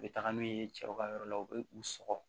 U bɛ taga n'u ye cɛw ka yɔrɔ la u bɛ u sɔgɔ